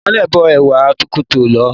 Ìmole bó ẹ̀wà kótó lọ̀ọ́.